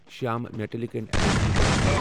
Shyam metallic and energy limited